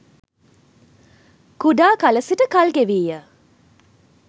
කුඩා කල සිට කල්ගෙවීය